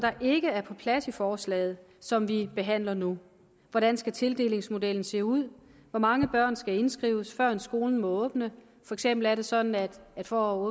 ikke er på plads i forslaget som vi behandler nu hvordan skal tildelingsmodellen se ud hvor mange børn skal indskrives førend skolen må åbne for eksempel er det sådan at for